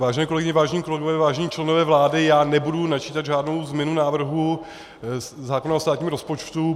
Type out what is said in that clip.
Vážené kolegyně, vážení kolegové, vážení členové vlády, já nebudu načítat žádnou změnu návrhu zákona o státním rozpočtu.